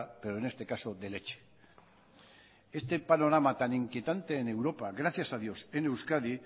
pero en este caso de leche este panorama tan inquietante en europa gracias a dios en euskadi